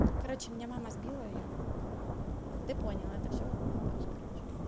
короче меня мама сбила и я ты понял это всё монтаж короче